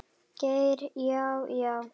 Geir Já, já.